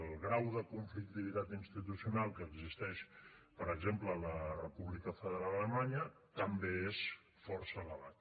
el grau de conflictivitat institucional que existeix per exemple a la república federal d’alemanya també és força elevat